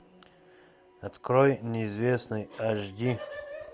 открой неизвестный аш ди